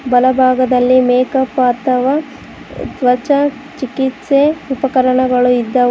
ಬಲ ಭಾಗದಲ್ಲಿ make up ಅಥವಾ ತ್ವಚ ಚಿಕಿತ್ಸೆ ಉಪಕರಣಗಳು ಇದ್ದ--